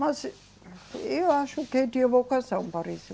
Mas eu acho que tive a vocação para isso.